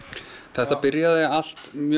þetta byrjaði allt mjög